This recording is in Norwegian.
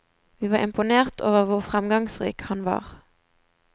Vi var imponert over hvor fremgangsrik han var.